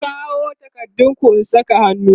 ku kawo takardun ku in Saka hannu!